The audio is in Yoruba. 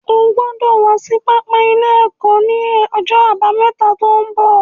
O gbọ́dọ̀ wá sí pápá ilé ẹ̀kọ́ ní ọjọ́ àbámẹ́ta tó ń bọ̀